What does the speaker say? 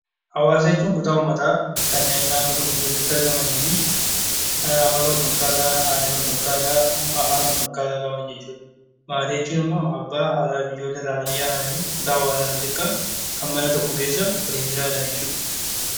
Hawaasa jechuun kutaa uummataa kanneen naannoo tokko keessatti argamanii fi amala, aadaa, afaan wal fakkaataa qaban jechuudha. Maatii jechuun immoo abbaa, haadha, ijoollee irraa kan ijaaramee fi kutaa hawaasaa isa xiqqaa waliin jiraatanidha.